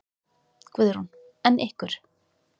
Guðrún: En ykkur?